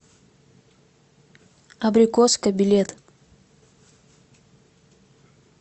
абрикоска билет